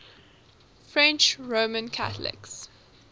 french roman catholics